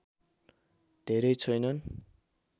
धेरै छैनन्